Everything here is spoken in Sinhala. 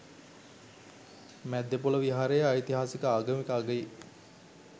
මැද්දේපොළ විහාරයේ ඓතිහාසික ආගමික අගයේ